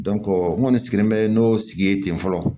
n kɔni sigilen bɛ n'o sigi ye ten fɔlɔ